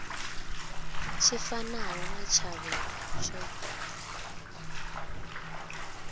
tshi fanaho na tshavho tsho